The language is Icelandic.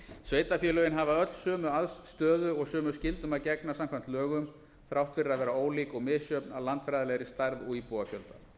sveitarfélögin hafa öll sömu stöðu og sömu skyldum að gegna samkvæmt lögum þrátt fyrir að vera ólík og misjöfn að landfræðilegri stærð og íbúafjölda